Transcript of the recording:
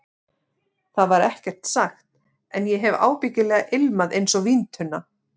Það var ekkert sagt, en ég hef ábyggilega ilmað einsog víntunna.